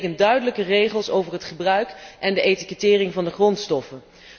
Dat betekent duidelijke regels over het gebruik en de etikettering van de grondstoffen.